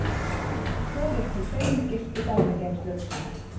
Fjórir til fimm gistu fangageymslur